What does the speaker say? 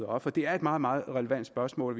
op for det er et meget meget relevant spørgsmål